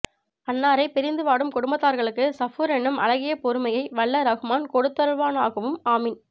அன்னாரை பிரிந்து வாடும் குடும்பத்தார்களுக்கு சபூர் என்னும் அழகிய பொறுமையை வல்ல ரஹ்மான் கொடுத்தருள்வானாகவும் ஆமீன்